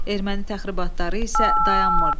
Erməni təxribatları isə dayanmırdı.